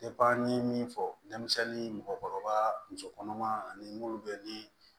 n ye min fɔ denmisɛnnin